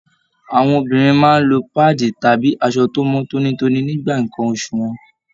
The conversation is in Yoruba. Àwọn obìnrin máa n lọ paadi tàbí aṣọ tó mọ tónítóní nígbà nkán oṣù wọn.